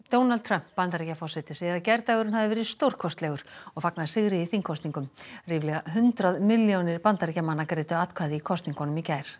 Donald Trump Bandaríkjaforseti segir að gærdagurinn hafi verið stórkostlegur og fagnar sigri í þingkosningum ríflega hundrað milljónir Bandaríkjamanna greiddu atkvæði í kosningunum í gær